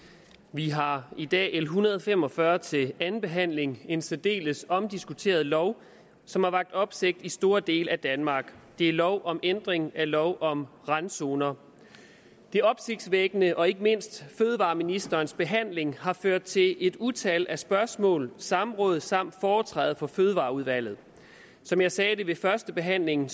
vi har i dag l en hundrede og fem og fyrre til anden behandling det en særdeles omdiskuteret lov som har vakt opsigt i store dele af danmark det er lov om ændring af lov om randzoner det opsigtsvækkende heri og ikke mindst fødevareministerens behandling har ført til et utal af spørgsmål og samråd samt foretræde for fødevareudvalget som jeg sagde ved førstebehandlingen